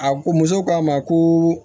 A ko muso k'a ma ko